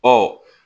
Ɔ